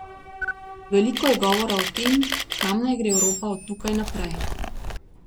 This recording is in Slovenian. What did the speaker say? Veliko je govora o tem, kam naj gre Evropa od tukaj naprej.